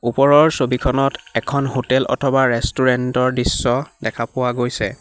ওপৰৰ ছবিখনত এখন হোটেল অথবা ৰেষ্টুৰেন্ট ৰ দৃশ্য দেখা পোৱা গৈছে।